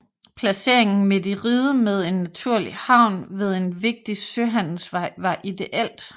Placeringen midt i riget med en naturlig havn ved en vigtig søhandelsvej var ideelt